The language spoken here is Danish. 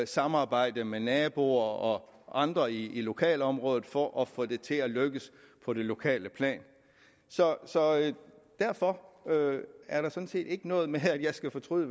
samarbejde med naboer og andre i lokalområdet for at få det til at lykkes på det lokale plan så så derfor er der sådan set ikke noget med at jeg skal fortryde